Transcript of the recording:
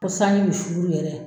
Fo sanji bi suru yɛrɛ